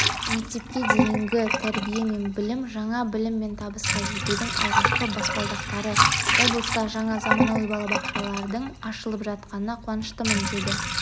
мектепке дейінгі тәрбие мен білім жаңа білім мен табысқа жетудің алғашқы баспалдақтары облыста жаңа заманауи балабақшалардың ашылып жатқанына қуаныштымын деді